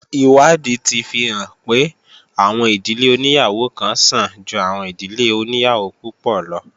Ìwádìí ti fi hàn pé, àwọn ìdílé oníyàwó kan sàn ju àwọn ìdílé oníyàwó púpọ̀ lo